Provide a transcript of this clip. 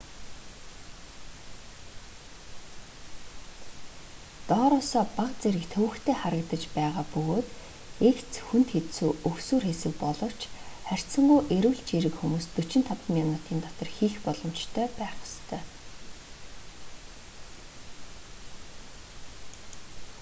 доороосоо бага зэрэг төвөгтэй харагдаж байгаа бөгөөд эгц хүнд хэцүү өгсүүр хэсэг боловч харьцангуй эрүүл чийрэг хүмүүс 45 минутын дотор хийх боломжтой байх ёстой